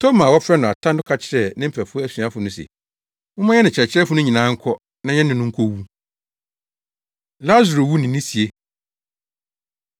Toma a wɔfrɛ no Ata no ka kyerɛɛ ne mfɛfo asuafo no se, “Momma yɛne Kyerɛkyerɛfo no nyinaa nkɔ na yɛne no nkowu.” Lasaro Wu Ne Ne Sie